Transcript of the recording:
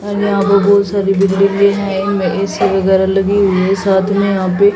और यहां बहुत सारे बिल्डिंगे हैं इनमें ए_सी वगौरा लगी हुए है साथ में यहां पे--